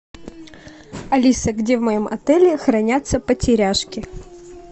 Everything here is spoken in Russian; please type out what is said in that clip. алиса где в моем отеле хранятся потеряшки